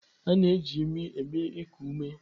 A na-eji imi eme iku ume.